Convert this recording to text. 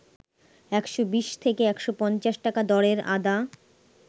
১২০ থেকে ১৫০ টাকা দরের আদা